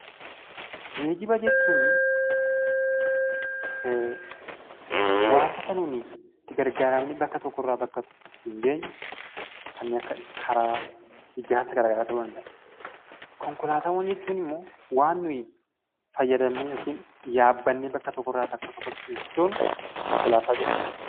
Geejjiba jechuuni waantota nuni itti gargaaramnee bakka tokkorraa bakka tokko ittiin geenyu kanneen akka karaa, ijaarsa gara garaa ta'uu danda'a. Konkolaataawwan jechuun immoo waan nuyi fayyadamnee yokin yaabbannee bakka tokkorraa bakka tokkotti ittin sochoonu konkolaataa jedhama.